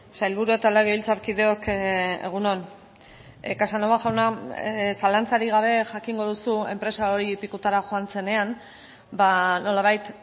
sailburu eta legebiltzarkideok egun on casanova jauna zalantzarik gabe jakingo duzu enpresa hori pikutara joan zenean nolabait